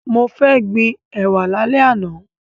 Mo fẹ́ gbin ẹ̀wà lálẹ́ àná.